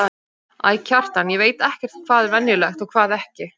Æ, Kjartan, ég veit ekkert hvað er venjulegt og hvað ekki.